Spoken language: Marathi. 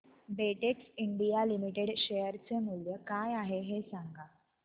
बेटेक्स इंडिया लिमिटेड शेअर चे मूल्य काय आहे हे सांगा